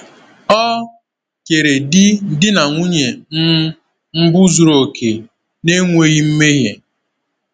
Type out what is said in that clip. Ọ kere di di na nwunye um mbụ zuru oke, na-enweghị mmehie.